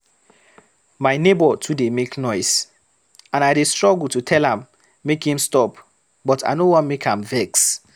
My neighbor too dey make noise, and I dey struggle to tell am make im stop but I no wan make am vex.